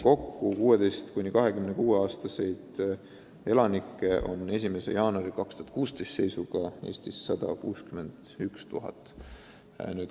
Kokku oli 16–26-aastaseid elanikke seisuga 1. jaanuar 2016 Eestis 161 000.